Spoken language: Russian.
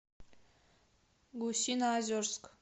гусиноозерск